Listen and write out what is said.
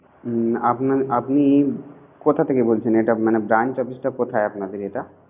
হুম আপনার আপনি কোথা থেকে বলছেন। ওটা branch office টা কোথায় আপনাদের ওটা